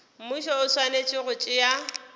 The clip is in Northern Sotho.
mmušo o swanetše go tšea